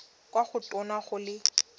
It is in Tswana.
kwa go tona go le